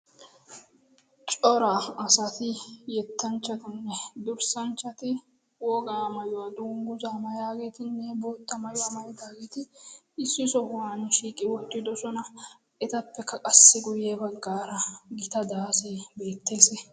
coraa asati yettanchchatinne durssanchchati wogaa mayuwaa dungguzaa mayaageetinne bootta mayuwaa mayidaageeti issi sohuwan shiiqi wottidohona etappekka qassi guyye baggaara gita daasee beettees